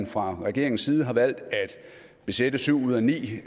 fra regeringens side har valgt at besætte syv ud af ni